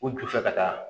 U ju fɛ ka taa